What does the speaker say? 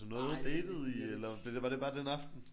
Datede I? Eller blev det var det bare den aften?